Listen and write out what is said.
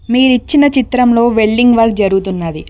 మీరు ఇచ్చిన చిత్రంలో వెల్డింగ్ వర్క్ జరుగుతున్నది.